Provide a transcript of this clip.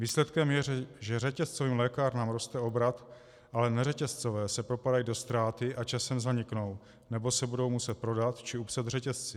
Výsledkem je, že řetězcovým lékárnám roste obrat, ale neřetězcové se propadají do ztráty a časem zaniknou, nebo se budou muset prodat či upsat řetězci.